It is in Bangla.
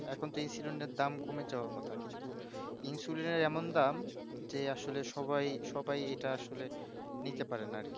এখুন তো insuline এর দাম কমে যাওয়ার কথা কিন্তু insuline এর এমন দাম যে আসলে সবাই সবাই যে আসলে এটা নিতে পারে না